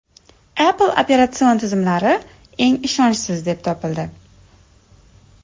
Apple operatsion tizimlari eng ishonchsiz deb topildi.